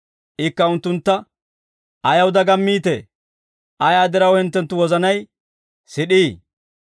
Ikka unttuntta, «Ayaw dagammiitee? Ayaa diraw hinttenttu wozanay sid'ii?